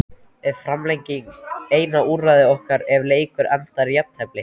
Er framlenging eina úrræði okkar ef leikur endar í jafntefli?